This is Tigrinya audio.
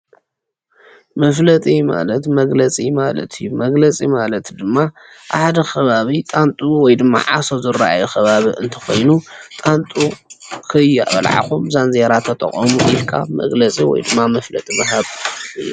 መፍለጢ ማለት መግለጺ ማለት አዩ መግለጺ ማለት ድማ ኣብ ሓደ ከባቢ ጣንጡ ወይ ድማ ዓሶ ዝረኣዮ ከባቢ እንተ ኮይኑ ጣንጡ ከይበልዓኹም ዛንዜራ ተጠቐሙ ኢልካ መግለጺ ወይ ድማ መፍለጢ ምሃብ እዩ።